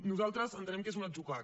nosaltres entenem que és un atzucac